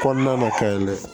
Kɔnɔna na ka ɲi dɛ